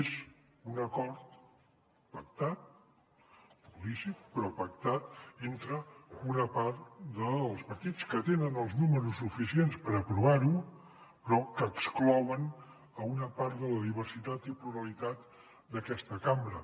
és un acord pactat lícit però pactat entre una part dels partits que tenen els números suficients per aprovar ho però que exclouen una part de la diversitat i pluralitat d’aquesta cambra